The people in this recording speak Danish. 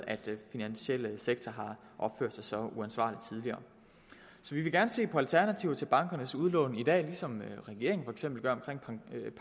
at den finansielle sektor har opført sig så uansvarligt tidligere så vi vil gerne se på alternativer til bankernes udlån i dag ligesom regeringen for eksempel gør omkring